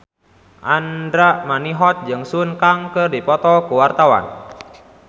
Andra Manihot jeung Sun Kang keur dipoto ku wartawan